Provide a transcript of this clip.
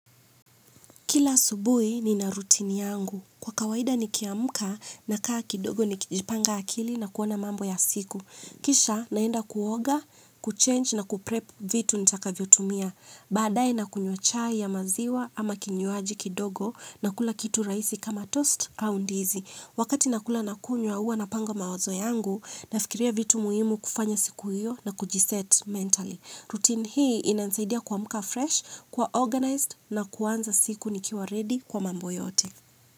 Kila asubuhi nina rutini yangu. Kwa kawaida nikiamka nakaa kidogo ni kijipanga akili na kuona mambo ya siku. Kisha naenda kuoga, kuchenji na kuprepu vitu nitakavyo tumia. Badae nakunywa chai ya maziwa ama kinywaji kidogo na kula kitu rahisi kama tosti au ndizi. Wakati nakula na kunywa huwa napanga mawazo yangu nafikiria vitu muhimu kufanya siku hiyo na kujiseti mentali. Rutini hii inanisaidia kuamka freshi kuwa oganaizidi na kuanza siku nikiwa redi kwa mambo yote.